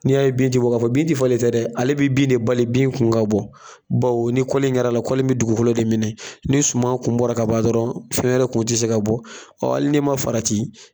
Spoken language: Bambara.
N'i y'a ye bin ti bɔ ka fɔ bin ti falen dɛ ale bi bin de bali bin kun ka bɔ bawo ni in kɛra la mi dugukolo de minɛ ni suma kun bɔra ka ban dɔrɔn fɛn wɛrɛ kun ti se ka bɔ hali n'i ma farati